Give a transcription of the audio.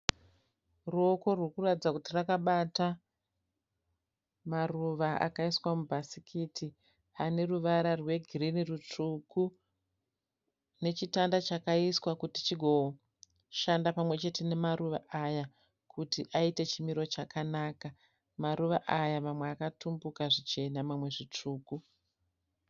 Ruoko rurikuratidza kuti rwakabata maruva akaiswa mubhasikiti aneruvara rwegirini rutsvuku nechitanda chakaiswa kuti chigoshanda pamwe chete nemaruva aya kuti aite chimiro chakanaka. Maruva aya mamwe akatumbuka zvichena mamwe zvitsvuku.